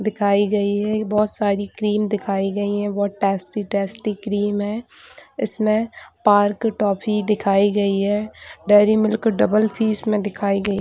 दिखाई गई है बहुत सारी क्रीम दिखाई गई है बहुत टेस्टी-टेस्टी क्रीम है इसमें पार्क टॉफ़ी दिखाई गयी हैं डेरी मिल्क डबल पीस भी इसमें दिखाई गयी है।